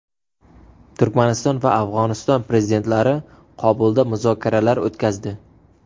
Turkmaniston va Afg‘oniston prezidentlari Qobulda muzokaralar o‘tkazdi.